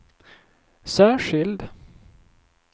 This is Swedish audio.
särskild